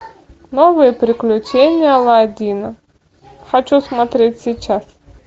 новые приключения аладдина хочу смотреть сейчас